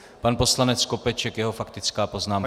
Pan poslanec Skopeček, jeho faktická poznámka.